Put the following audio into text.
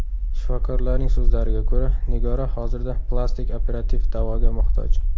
Shifokorlarning so‘zlariga ko‘ra, Nigora hozirda plastik operativ davoga muhtoj.